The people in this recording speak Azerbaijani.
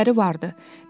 Tərcüməçiləri vardı.